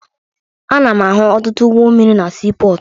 Ana m ahụ ọtụtụ ụgbọ mmiri na siipọọtụ